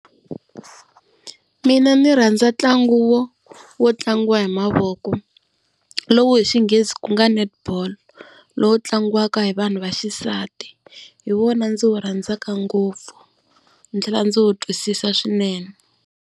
Mina ndzi rhandza ntlangu wo, wo tlangiwa hi mavoko lowu hi xinghezi ku nga netball, lowu tlangiwaka hi vanhu va xisati hi wona ndzi wu rhandzaka ngopfu ndzi tlhela ndzi wu twisisa swinene.